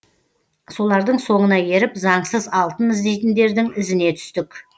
солардың соңына еріп заңсыз алтын іздейтіндердің ізіне түстік